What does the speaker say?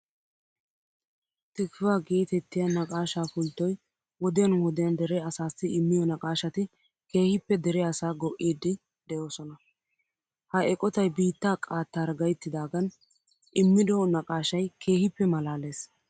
Tikvah geetettiya naqaashaa pulttoy wodiyan wodiyan dere asaassi immiyo naqaashati keehippe dere asaa go"iiddi de'oosona. Ha eqotay biittaa qaattaara gayttidaagan immido naqaashay keehippe maalaalees.